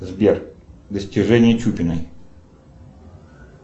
сбер достижения чупиной